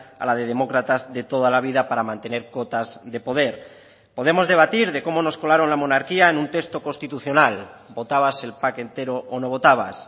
a la de demócratas de toda la vida para mantener cotas de poder podemos debatir de cómo nos colaron la monarquía en un texto constitucional votabas el pack entero o no votabas